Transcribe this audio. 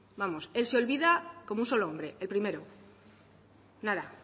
vamos él se olvida como un solo hombre el primero nada